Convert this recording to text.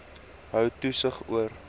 hou toesig oor